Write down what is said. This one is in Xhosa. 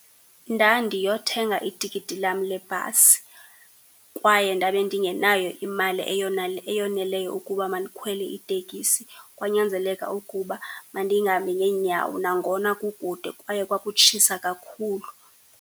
Ndandiyothenga itikiti lam lebhasi kwaye ndabe ndingenayo imali eyoneleyo ukuba mandikhwele iteksi, kwanyanzeleka ukuba mandihambe ngeenyawo nangona kukude kwaye kwakutshisa kakhulu.